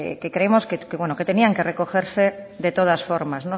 que creemos que tenían que recogerse de todas formas